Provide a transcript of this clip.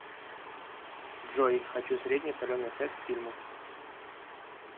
джой хочу средний соленый сет к фильму